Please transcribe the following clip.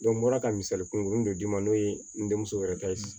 n bɔra ka misali kun dɔ d'i ma n'o ye n denmuso yɛrɛ ta ye